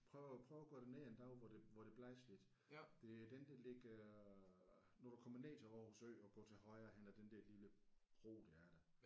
Prøv at prøv at gå derned en dag hvor det hvor det blæser lidt. Det er den der ligger når du kommer ned til Aarhus Ø og går til højre hen ad den der lille bro der er der